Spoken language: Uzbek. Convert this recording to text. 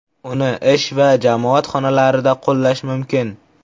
Uni ish va jamoat xonalarida qo‘llash mumkin.